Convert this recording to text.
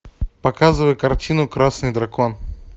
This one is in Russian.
показывай картину красный дракон